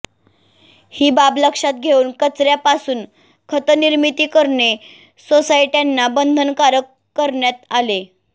ही बाब लक्षात घेऊन कचऱ्यापासून खतनिर्मिती करणे सोसायट्यांना बंधनकारक करण्यात आले